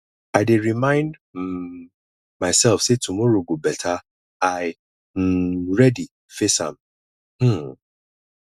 i dey remind um myself say tomorrow go better i um ready face am um